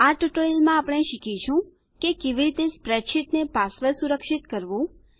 આ ટ્યુટોરીયલમાં આપણે શીખીશું કે કેવી રીતે સ્પ્રેડશીટને પાસવર્ડ સુરક્ષિત કરવું